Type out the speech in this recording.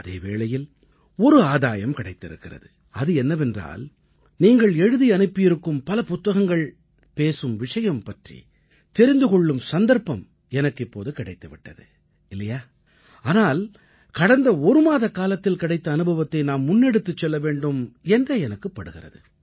அதே வேளையில் ஒரு ஆதாயம் கிடைத்திருக்கிறது அது என்னவென்றால் நீங்கள் எழுதி அனுப்பியிருக்கும் பல புத்தகங்கள் பேசும் விஷயம் பற்றி தெரிந்து கொள்ளும் சந்தர்ப்பம் இப்போது எனக்குக் கிடைத்து விட்டது இல்லையா ஆனால் கடந்த ஒரு மாதக்காலத்தில் கிடைத்த அனுபவத்தை நாம் முன்னெடுத்துச் செல்ல வேண்டும் என்றே எனக்குப் படுகிறது